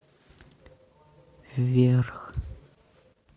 вверх